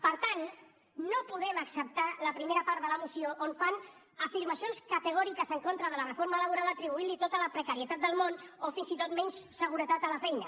per tant no podem acceptar la primera part de la moció on fan afirmacions categòriques en contra de la reforma laboral atribuint li tota la precarietat del món o fins i tot menys seguretat a la feina